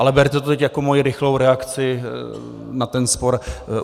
Ale berte to teď jako moji rychlou reakci na ten spor.